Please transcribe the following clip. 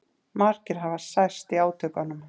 Margir hafi særst í átökunum